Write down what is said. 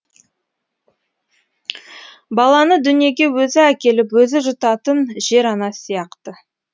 баланы дүниеге өзі әкеліп өзі жұтатын жер ана сияқты